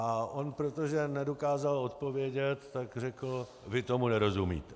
A on, protože nedokázal odpovědět, tak řekl: vy tomu nerozumíte.